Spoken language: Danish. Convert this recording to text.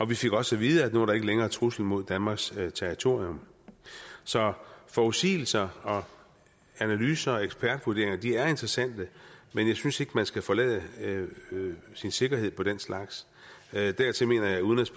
vi fik også at vide at nu var der ikke længere trusler mod danmarks territorium så forudsigelser og analyser og ekspertvurderinger er interessante men jeg synes ikke man skal forlade sin sikkerhed på den slags dertil mener jeg at udenrigs